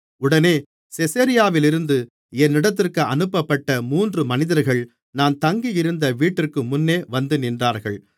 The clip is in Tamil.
உடனே செசரியாவிலிருந்து என்னிடத்திற்கு அனுப்பப்பட்ட மூன்று மனிதர்கள் நான் தங்கியிருந்த வீட்டிற்குமுன்னே வந்துநின்றார்கள்